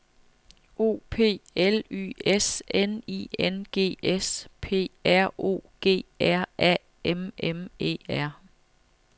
O P L Y S N I N G S P R O G R A M M E R